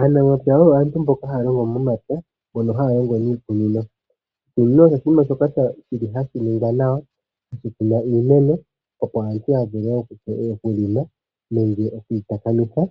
Aanamapya yo aantu mboka haya longo momapya mbono haya longo miikunino. Oshikunino osho oshinima shoka hashi ningwa nawa shokukunwa iimeno, opo aantu ya vule okulima nenge okuyi takamitha